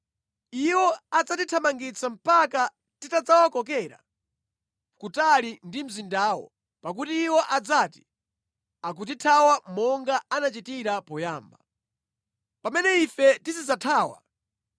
Iwo adzatithamangitsa mpaka titawakokera kutali ndi mzindawo, pakuti iwo adzati, ‘Akutithawa monga anachitira poyamba.’ Pamene ife tizidzathawa,